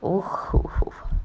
вахрушев